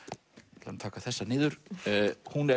ég ætla að taka þessa niður hún er